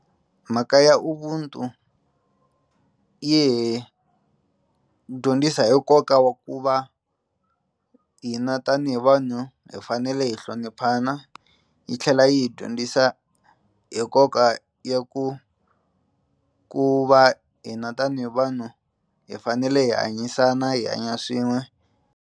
Mhaka ya Ubuntu yi hi dyondzisa hi nkoka wa ku va hina tanihi vanhu hi fanele hi hloniphana yi tlhela yi hi dyondzisa hi nkoka ya ku ku va hina tanihi vanhu hi fanele hi hanyisana hi hanya swin'we.